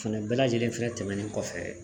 Fɛnɛ bɛɛ lajɛlen fɛnɛ tɛmɛnen kɔfɛ